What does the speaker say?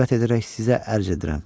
Cürət edərək sizə ərz edirəm.